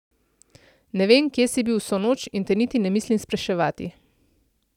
Ne vem, kje si bil vso noč, in te niti ne mislim spraševati.